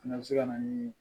O fana bɛ se ka na ni